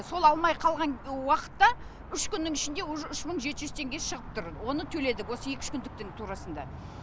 сол алмай қалған уақытта үш күннің ішінде уже үш мың жеті жүз теңге шығып тұр оны төледік осы екі үш күндіктің турасында